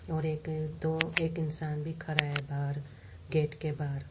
और एक दो एक इंसान भी खड़ा है बाहर गेट के बाहर--